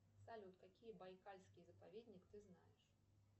салют какие байкальские заповедник ты знаешь